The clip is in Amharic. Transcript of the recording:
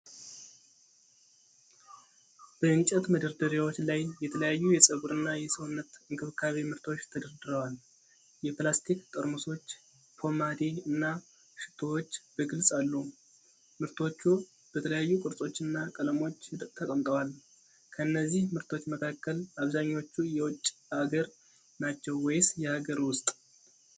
በእንጨት መደርደሪያዎች ላይ የተለያዩ የፀጉርና የሰውነት እንክብካቤ ምርቶች ተደርድረዋል። የፕላስቲክ ጠርሙሶች፣ ፖማዴ እና ሽቶዎች በግልጽ አሉ። ምርቶቹ በተለያዩ ቅርጾችና ቀለሞች ተቀምጠዋል። ከእነዚህ ምርቶች መካከል አብዛኛዎቹ የውጭ አገር ናቸው ወይስ የሀገር ውስጥ?